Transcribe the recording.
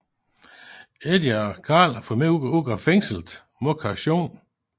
Eddie og Carl får Mick ud af fængslet mod kaution